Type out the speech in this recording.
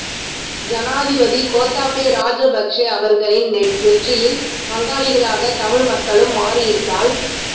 ஜனாதிபதி கோத்தாபே ராஜபக்ச அவர்களின் வெற்றியில் பங்காளிகளாக தமிழ் மக்களும் மாறியிருந்தால்